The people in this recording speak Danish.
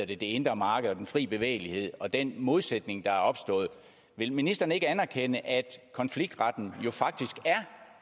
det indre marked og den fri bevægelighed og den modsætning der er opstået vil ministeren ikke anerkende at konfliktretten jo faktisk er